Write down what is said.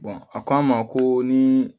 a ko an ma ko ni